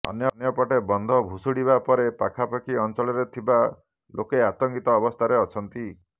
ଅନ୍ୟପଟେ ବନ୍ଧ ଭୁଶୁଡିବା ପରେ ପାଖାପାଖି ଅଞ୍ଚଳରେ ଥିବା ଲୋକେ ଅତଙ୍କିତ ଅବସ୍ଥାରେ ଅଛନ୍ତି